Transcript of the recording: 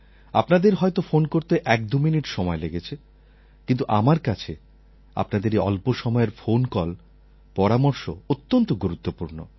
আপনাদের হয়ত ফোন করতে একদুমিনিট সময় লেগেছে কিন্তু আমার কাছে আপনাদের এই অল্প সময়ের ফোন কল পরামর্শ অত্যন্ত গুরুত্বপূর্ণ